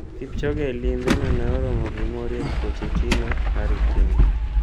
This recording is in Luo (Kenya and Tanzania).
Kipchoge e limbe no ne oromo gi Mauricio Pochettino, Harry Kane,